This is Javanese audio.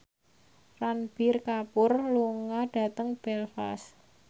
Ranbir Kapoor lunga dhateng Belfast